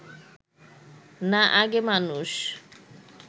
না আগে মানুষ